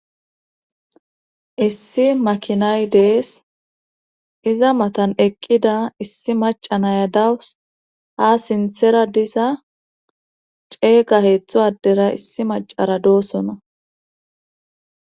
Issi makinay dees iza matan eqqida issi maca naya dawus ha sinthera disa ceega heeththo addera issi macara doosona